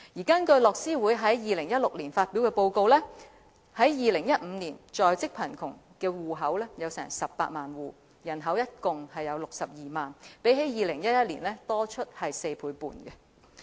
根據樂施會2016年發表的報告 ，2015 年在職貧窮的戶口有18萬戶，人口共62萬，較2011年多出4倍半。